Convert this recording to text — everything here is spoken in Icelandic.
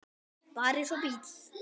Bara eins og bíll.